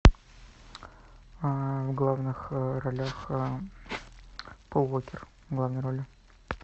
в главных ролях пол уокер в главной роли